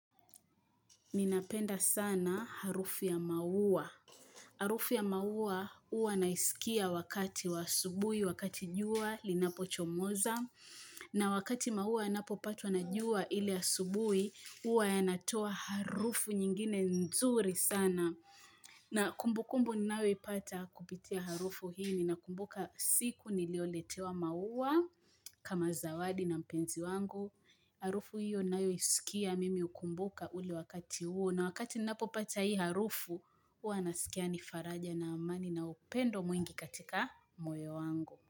Ninapenda sana harufu ya maua. Harufu ya maua huwa naisikia wakati wa asubuhi, wakati jua, linapochomoza. Na wakati maua inapopatwa na jua ile ya asubuhi, huwa yanatoa harufu nyingine nzuri sana. Na kumbu kumbu ninayo ipata kupitia harufu hii. Ninakumbuka siku nilioletewa maua kama zawadi na mpenzi wangu. Harufu hiyo ninayoisikia mimi hukumbuka ule wakati huo na wakati ninapopata hii harufu Huwa nasikia nifaraja na amani na upendo mwingi katika moyo wangu.